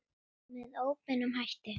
Með óbeinum hætti.